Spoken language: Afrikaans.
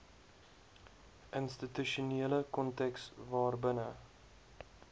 institusionele konteks waarbinne